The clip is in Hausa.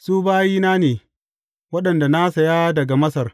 Su bayina ne waɗanda na saya daga Masar.